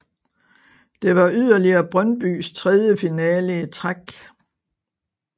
Det var yderligere Brøndbys tredje finale i træk